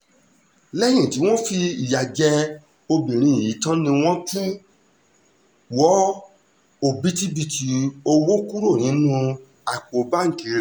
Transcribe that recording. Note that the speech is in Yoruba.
lẹ́yìn tí wọ́n fìyà jẹ obìnrin yìí tán ni wọ́n tún wọ òbítíbitì owó kúrò nínú àpò báńkì rẹ̀